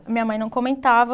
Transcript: A minha mãe não comentava